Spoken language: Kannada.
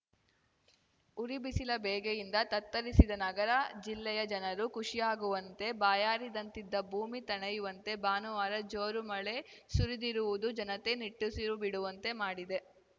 ಉರಿ ಬಿಸಿಲ ಬೇಗೆಯಿಂದ ತತ್ತರಿಸಿದ್ದ ನಗರ ಜಿಲ್ಲೆಯ ಜನರು ಖುಷಿಯಾಗುವಂತೆ ಬಾಯಾರಿದಂತಿದ್ದ ಭೂಮಿ ತಣಿಯುವಂತೆ ಭಾನುವಾರ ಜೋರು ಮಳೆ ಸುರಿದಿರುವುದು ಜನತೆ ನಿಟ್ಟಿಸಿರು ಬಿಡುವಂತೆ ಮಾಡಿದೆ